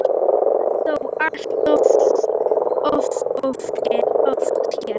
Það er þó allt of oft gert.